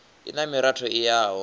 i na miratho i yaho